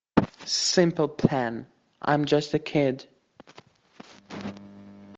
симпл плэн айм джаст э кид